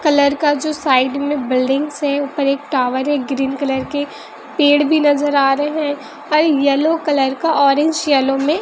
colour का जो side में बिल्डिंग्स है ऊपर एक टावर है ग्रीन कलर के पेड़ भी नजर आ रहे हैं और येलो कलर का ऑरेंज येलो में--